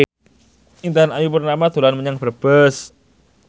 Intan Ayu Purnama dolan menyang Brebes